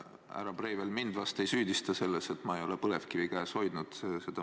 Härra Breivel vahest mind ei süüdista selles, et ma ei ole põlevkivi käes hoidnud.